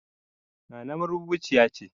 Nana marubuciya ce